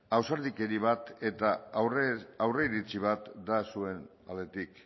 ausardikeri bat eta aurreiritzi bat da zuen aldetik